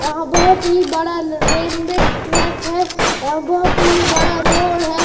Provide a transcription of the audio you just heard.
यहां बहोत ही बड़ा रेनवे ट्रैक है। बहोत ही बड़ा रोड है।